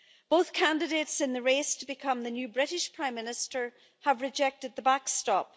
Both candidates in the race to become the new British Prime Minister have rejected the backstop.